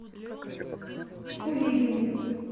кулибин